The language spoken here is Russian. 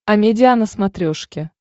амедиа на смотрешке